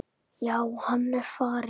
Já, hann er farinn